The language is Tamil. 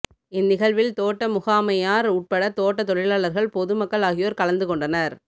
இந் நிகழ்வில் தோட்ட முகாமையார் உட்பட தோட்ட தொழிலாளர்கள் பொது மக்கள் ஆகியோர் கலந்துக் கொண்டனர்